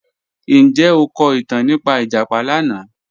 Njẹ o ko itan nipa ijapa lana?